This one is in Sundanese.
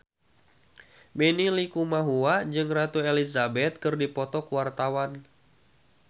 Benny Likumahua jeung Ratu Elizabeth keur dipoto ku wartawan